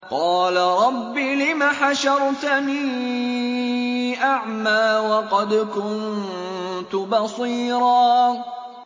قَالَ رَبِّ لِمَ حَشَرْتَنِي أَعْمَىٰ وَقَدْ كُنتُ بَصِيرًا